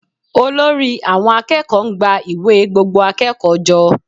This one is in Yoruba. Olórí àwọn akẹ́kọ̀ọ́ ń gba ìwé gbogbo akẹ́kọ̀ọ́ jọ